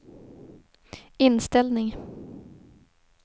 inställning